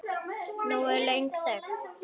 Nú er löng þögn.